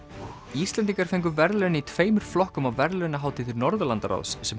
Íslendingar fengu verðlaun í tveimur flokkum á verðlaunahátíð Norðurlandaráðs sem